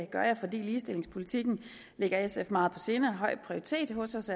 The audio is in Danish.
gør jeg fordi ligestillingspolitikken ligger sf meget på sinde og har høj prioritet hos os